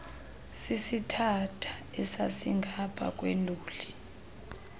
sisithatha esasingapha kwenduli